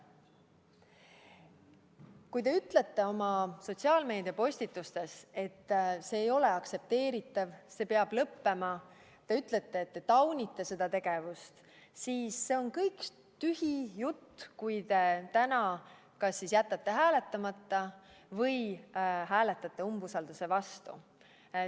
Kui te ütlete sotsiaalmeediapostitustes, et see ei ole aktsepteeritav ja see peab lõppema, kui te ütlete, et taunite seda tegevust, siis see on kõik tühi jutt, kui te täna jätate hääletamata või hääletate umbusalduse avaldamise vastu.